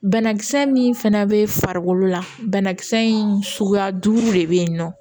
Banakisɛ min fana bɛ farikolo la banakisɛ in suguya duuru de bɛ yen nɔ